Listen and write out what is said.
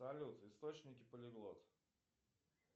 салют источники полиглот